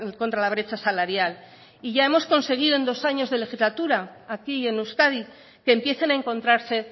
contra la brecha salarial y ya hemos conseguido en dos años de legislatura aquí en euskadi que empiecen a encontrarse